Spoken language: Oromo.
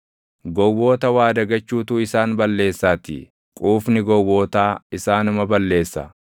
Gowwoota waa dagachuutu isaan balleessaatii; quufni gowwootaa isaanuma balleessa;